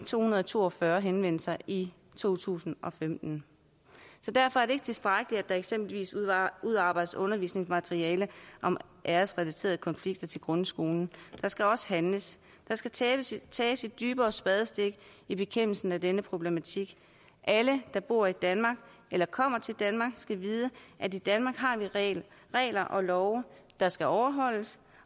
to hundrede og to og fyrre henvendelser i to tusind og femten så derfor er det ikke tilstrækkeligt at der eksempelvis udarbejdes undervisningsmateriale om æresrelaterede konflikter til grundskolen der skal også handles der skal tages tages et dybere spadestik i bekæmpelsen af denne problematik alle der bor i danmark eller kommer til danmark skal vide at i danmark har vi regler regler og love der skal overholdes